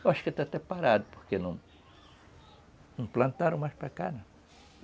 Eu acho que está até parado, porque não plantaram mais para cá.